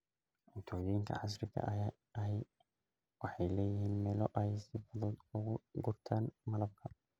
Cuntooyinka casriga ahi waxay leeyihiin meelo ay si fudud uga gurtaan malabka.